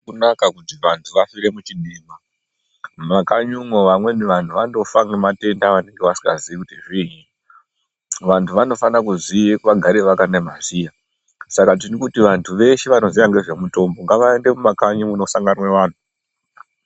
Azvina kunaka kuti vantu vafire muchidima , mumakanyi umwo vamweni vantu vandofa nematenda avanenge vasingaziii kuti zviinyi , vantu vanofana kuziya vagare vakana maziya Saka tirikuti vantu veshe vanoziye ngezvemutombo ngavaende mumakanyi munosanganwe vantu.